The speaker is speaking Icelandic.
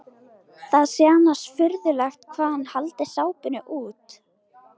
Það sé annars furðulegt hvað hann haldi sápuna út.